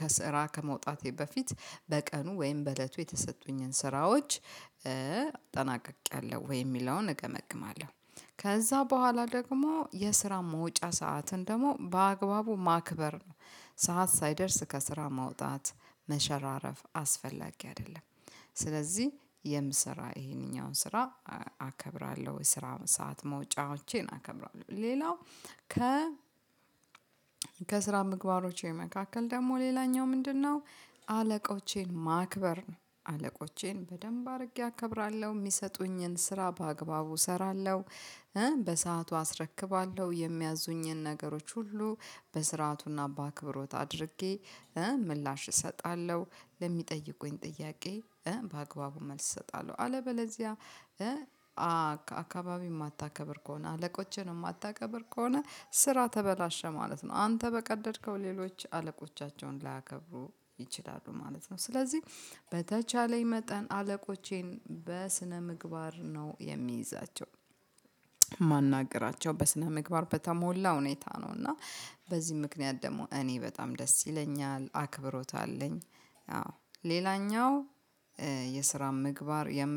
ከስራ ከመውጣቴ በፊት በቀኑ ወይም በእለቱ የተሰጡኝን ስራዎች ጠናቅቄያለሁ ወይ የሚለውን እገመግማለሁ ከዛ ቦኋላ ደግሞ የስራ መውጫ ሰዓትን ደግሞ በአግባቡ ማክበር ነው ሰዓት ሳይደርስ ከስራ ማውጣት መሸራረፍ አስፈላጊ አይደለም። ስለዚህ የምሰራ ይሄንኛውን ስራ አከብራለው ወይ ስራ ሰዓት መውጫዎቼን አከብራለው ሌላው ከ ከስራ ምግባሮቼ መካከል ደግሞ ሌላኛው ምንድነው አለቆቼን ማክበር ነው። አለቆቼን በደንብ አድርጌ አከብራለው የሚሰጡኝን ስራ በአግባቡ እሰራለው በሰአቱ አስረክባለሁ የሚያዙኝን ነገሮች ሁሉ በስርዓቱና በአክብሮት አድርጌ ምላሽ እሰጣለው ለሚጠይቁኝ ጥያቄ በአግባቡ መልስ እሰጣለው አለበለዚያ አካባቢ የማታከብር ከሆነ አለቆችን የማታከብር ከሆነ ስራ ተበላሸ ማለት ነው አንተ በቀደድከው ሌሎች አለቆቻቸውን ላያከብሩ ይችላሉ ማለት ነው። ስለዚህ በተቻለኝ መጠን አለቆቼን በስነ ምግባር ነው የሚይዛቸው ማናገራቸው በስነ ምግባር በተሞላ ሁኔታ ነው። እና በዚህ ምክንያት ደግሞ እኔ በጣም ደስ ይለኛል አክብሮት አለኝ አዎ ሌላኛው የስራ ምግባር የምል